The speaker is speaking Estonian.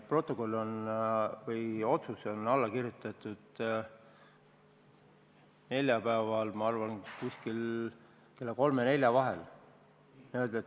Protokoll või otsus on alla kirjutatud neljapäeval, ma arvan, et umbes kella kolme ja nelja vahel.